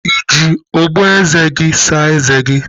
Ị ji ogboeze gị saa eze gi?